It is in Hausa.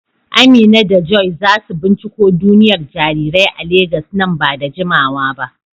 Amina da Joy za su binciko duniyar jarirai a Legas nan ba da jimawa ba.